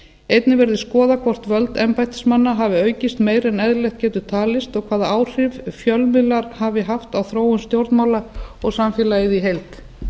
einnig verði skoðað hvort völd embættismanna geti aukist meira en eðlilegt getur talist og hvaða áhrif fjölmiðlar hafi haft á þróun stjórnmála og samfélagið í heild